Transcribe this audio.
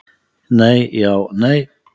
Nei, Já, Nei.